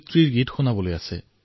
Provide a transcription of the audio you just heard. নীৰজ মহোদয়ে কয়